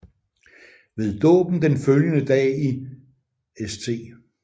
Ved dåben den følgende dag i St